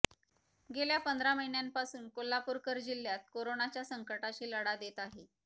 गेल्या पंधरा महिन्यापासून कोल्हापूरकर जिल्हात करोनाच्या संकटाशी लढा देत आहे